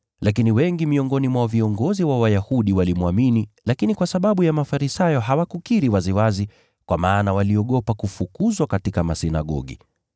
Lakini wengi miongoni mwa viongozi wa Wayahudi walimwamini, lakini kwa sababu ya Mafarisayo hawakukiri waziwazi kwa maana waliogopa kufukuzwa katika masinagogi.